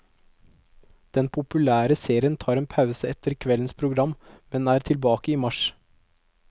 Den populære serien tar en pause etter kveldens program, men er tilbake i mars.